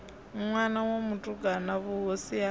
ṋwana wa mutukana vhuhosi ha